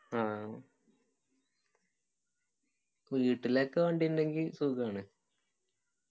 ആ വീട്ടിലൊക്കെ വണ്ടി ഇണ്ടെങ്കി സുഖാണ്